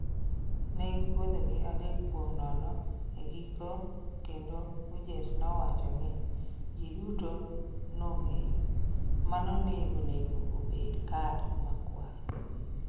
"Ne gipodho gi adek kuom nono e giko kendo Hughes nowacho ni ""ji duto nong'eyo"" mano ne onego obed kad makwar."